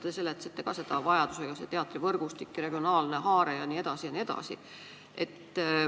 Te rääkisite ka teatrivõrgustikust, regionaalsest haardest jne.